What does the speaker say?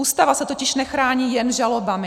Ústava se totiž nechrání jen žalobami.